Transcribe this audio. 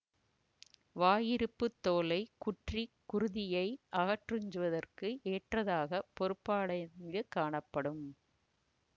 வாயுறுப்பு தோலைக் குற்றி குருதியை அகத்துறுஞ்சுவதற்கு ஏற்றதாக பொருத்தப்பாடடைந்து காணப்படும்